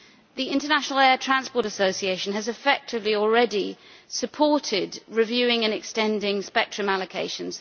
The International Air Transport Association has effectively already supported reviewing and extending spectrum allocations.